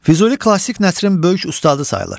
Füzuli klassik nəslin böyük ustadı sayılır.